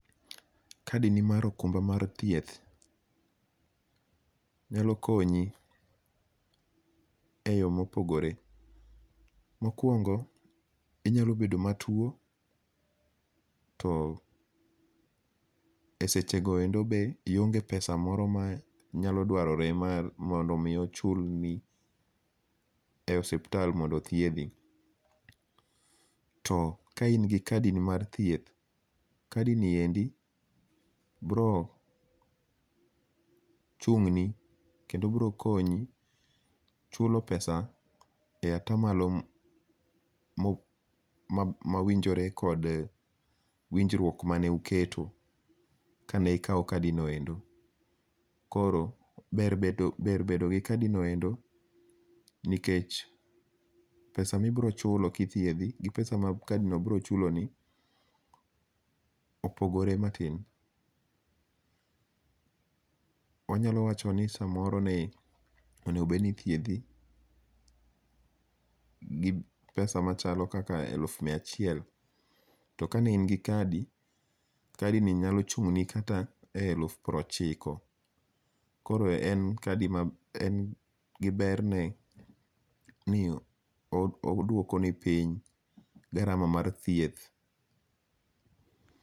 Kadini mar okumba mar thieth nyalo konyi eyo mopogore. Mokuongo inyalo bedo matuo, to esechego endo be ionge pesa moro manyalo dwarore mondo mi ochulni e osiptal mondo othiedhi. To ka in gi kadini mar thieth, kadini endi biro konyi chulo pesa e atamalo mawinjore kod winjruok mane uketo kane ikawo kadinoendo. Koro ber bedo gi kadinoendo nikech pesa ma ibiro chulo kothiedhi gi pesa ma kadino biro chuloni opogore matin. Wanyalo wacho ni samoro ne onego bed ni ithiedhi gi pesa machalo elufu miya achiel, kane in gi kadi, kadini nyalo chung'ni kata e elufu piero ochiko. Koro berne oduokoni piny garama mar thieth.